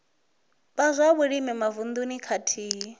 vha zwa vhulimi mavununi khathihi